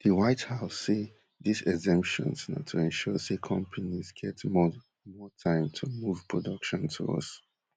di white house say dis exemptions na to ensure say companies get more more time to move production to us